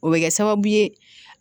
O bɛ kɛ sababu ye